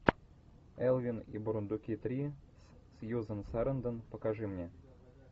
элвин и бурундуки три с сьюзан сарандон покажи мне